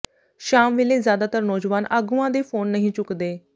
ਸ਼ਾਮ ਵੇਲੇ ਜ਼ਿਆਦਾਤਰ ਨੌਜਵਾਨ ਆਗੂਆਂ ਦੇ ਫੋਨ ਨਹੀਂ ਚੁਕਦੇ